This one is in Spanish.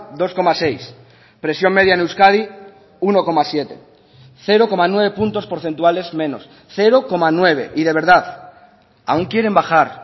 dos coma seis presión media en euskadi uno coma siete cero coma nueve puntos porcentuales menos cero coma nueve y de verdad aún quieren bajar